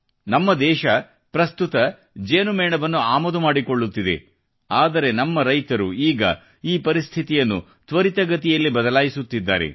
ನಮ್ಮ ದೇಶ ಪ್ರಸ್ತುತ ಜೇನು ಮೇಣವನ್ನು ಆಮದು ಮಾಡಿಕೊಳ್ಳುತ್ತಿದೆ ಆದರೆ ನಮ್ಮ ರೈತರು ಈಗ ಈ ಪರಿಸ್ಥಿತಿಯನ್ನು ತ್ವರಿತಗತಿಯಲ್ಲಿ ಬದಲಾಯಿಸುತ್ತಿದ್ದಾರೆ